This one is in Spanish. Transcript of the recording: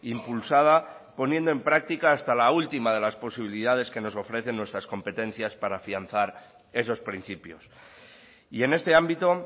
impulsada poniendo en práctica hasta la última de las posibilidades que nos ofrecen nuestras competencias para afianzar esos principios y en este ámbito